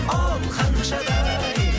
оу ханшадай